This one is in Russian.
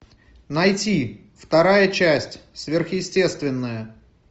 найти вторая часть сверхъестественное